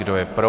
Kdo je pro?